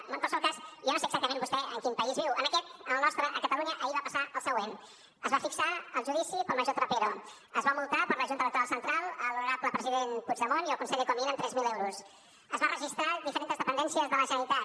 en qualsevol cas jo no sé exactament vostè en quin país viu en aquest en el nostre a catalunya ahir va passar el següent es va fixar el judici per al major trapero es va multar per la junta electoral central l’honorable president puigdemont i el conseller comín amb tres mil euros es van registrar diferents dependències de la generalitat